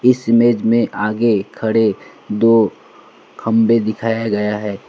इस इमेज में आगे खड़े दो खंभे दिखाया गया है।